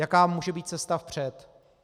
Jaká může být cesta vpřed?